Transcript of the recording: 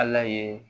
Ala ye